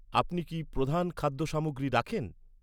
আপনি কি প্রধান খাদ্য সামগ্রী রাখেন?